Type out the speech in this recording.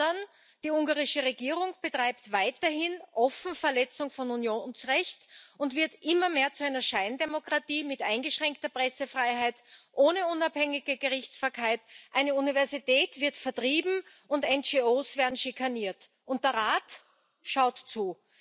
Stattdessen betreibt die ungarische Regierung weiterhin offen Verletzung von Unionsrecht und wird immer mehr zu einer Scheindemokratie mit eingeschränkter Pressefreiheit, ohne unabhängige Gerichtsbarkeit, eine Universität wird vertrieben, NGOs werden schikaniert, und der Rat schaut zu.